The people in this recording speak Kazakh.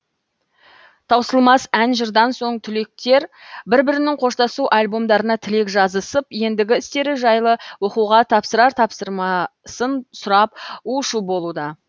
таусылмас ән жырдан соң түлектер бір бірінің қоштасу альбомдарына тілек жазысып ендігі істері жайлы оқуға тапсырар тапсырмасын сұрап у шу болуда